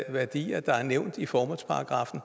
værdier der er nævnt i formålsparagraffen